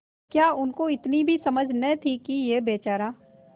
क्या उनको इतनी भी समझ न थी कि यह बेचारा